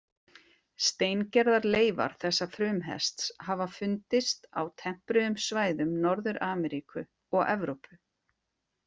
Steingerðar leifar þessa frumhests hafa fundist á tempruðum svæðum Norður-Ameríku og Evrópu.